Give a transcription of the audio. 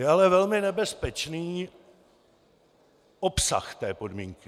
Je ale velmi nebezpečný obsah té podmínky.